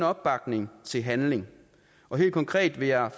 opbakning til handling helt konkret vil jeg